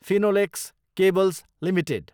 Finolex cables Ltd